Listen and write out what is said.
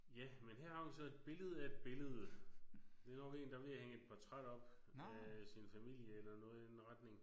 Ja men her har vi så et billede af et billede. Det er nok en der er ved at hænge et portræt op af sin familie eller noget i den retning